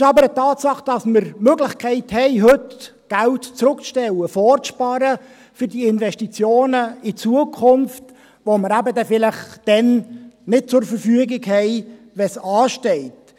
Es ist aber eine Tatsache, dass wir heute Möglichkeiten haben, Geld zurückzustellen, um es für Investitionen in die Zukunft vorzusparen, welches wir dann vielleicht nicht zur Verfügung haben werden, wenn diese Investitionen anstehen.